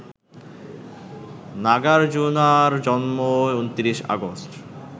নাগার্জুনার জন্ম ২৯ আগস্ট